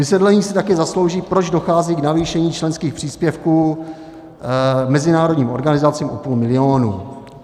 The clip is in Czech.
Vysvětlení si taky zaslouží, proč dochází k navýšení členských příspěvků mezinárodním organizacím o půl milionu.